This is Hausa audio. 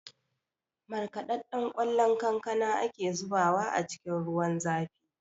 Markaɗaɗɗen ƙwallon kankana ake zubawa a cikin ruwan zafi